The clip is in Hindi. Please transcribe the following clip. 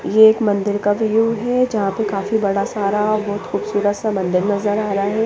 ये एक मंदिर का व्यू है जहा पर काफी बड़ा सारा बहुत खूबसूरत सा मंदिर नज़र आ रहा है।